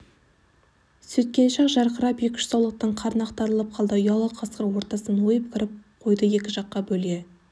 сөйткенше-ақ жарқырап екі-үш саулықтың қарны ақтарылып қалды ұялы қасқыр ортасынан ойып кіріп қойды екі жаққа бөле